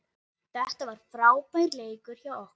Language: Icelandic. Þetta var frábær leikur hjá okkur